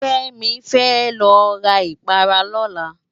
Kemi fè lo rá ipárá lòlá